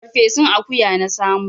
Farfesun akuya na samo.